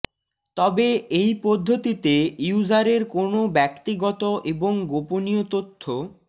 তবে এই পদ্ধতিতে ইউজারের কোনও ব্যক্তিগত এবং গোপনীয় তথ্য